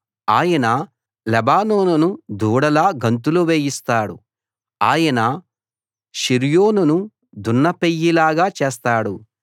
ఆయన లెబానోనును దూడలా గంతులు వేయిస్తాడు ఆయన షిర్యోనును దున్నపెయ్యలాగా చేస్తాడు